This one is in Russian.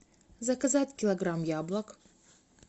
заказать килограмм яблок